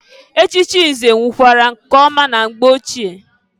Echichi nze wukwara nke ọma na mgbe ochie.